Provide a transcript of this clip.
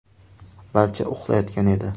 Barcha uxlayotgan edi.